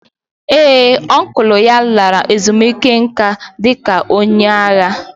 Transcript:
Ee ọncụl ya lara ezumike nká dị ka onye agha.